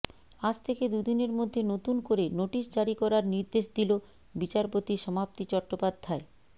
আজ থেকে দুদিনের মধ্যে নতুন করে নোটিশ জারি করার নির্দেশ দিল বিচারপতি সমাপ্তি চট্টোপাধ্যায়